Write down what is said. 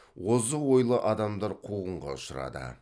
озық ойлы адамдар қуғынға ұшырады